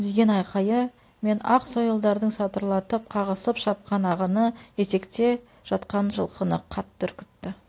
деген айқайы мен ақ сойылдарын сатырлатып қағысып шапқан ағыны етекте жатқан жылқыны қатты үркітті